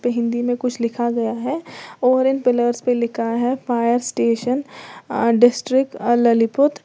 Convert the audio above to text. हिंदी में कुछ लिखा गया है और इन पीलर्स पर लिखा है फायर स्टेशन डिस्ट्रीक्ट ललितपुर।